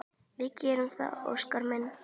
Við gerum það, Óskar minn.